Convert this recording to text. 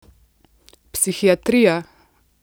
Psihiatrija!